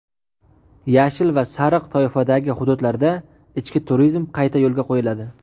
"Yashil" va "sariq" toifadagi hududlarda ichki turizm qayta yo‘lga qo‘yiladi.